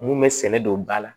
Mun bɛ sɛnɛ don ba la